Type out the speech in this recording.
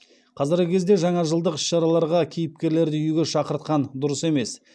қазіргі кезде жаңажылдық іс шараларға кейіпкерлерді үйге шақыртқан дұрыс емес